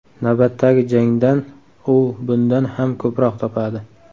Navbatdagi jangdan u bundan ham ko‘proq topadi.